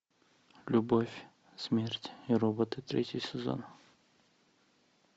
любовь смерть и роботы третий сезон